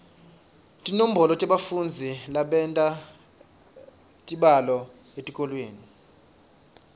tinombolo tebafundzi labenta tibalo etikolweni